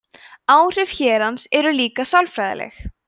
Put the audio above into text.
áhrif hérans eru líka sálfræðileg